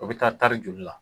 O bɛ taa tari joli la?